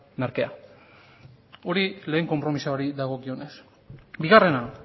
merkea hori lehen konpromisoa dago beraz bigarrena